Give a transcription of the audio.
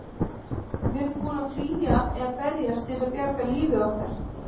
Við erum tilbúin til að flýja eða berjast til að bjarga lífi okkar.